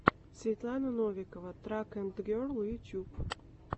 светлана новикова трак энд герл ютюб